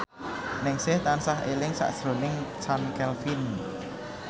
Ningsih tansah eling sakjroning Chand Kelvin